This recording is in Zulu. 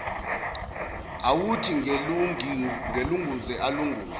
awuthi ngilunguze alunguze